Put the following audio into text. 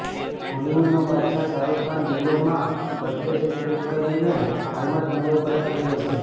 બોલિવુડનો બાદશાહ શાહરૂખ ખાન દુબઈમાં birthday celebrate કરીને હાલમાં જ મુંબઈ પરત ફર્યો છે